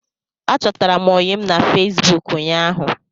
Achọtara m ọyịm na Fesbụụk ụñyaahu